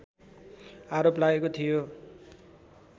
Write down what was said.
आरोप लागेको थियो